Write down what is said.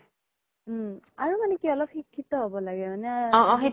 অ আৰু মানে কি অলপ শিক্ষিত হ্'ব হয় নে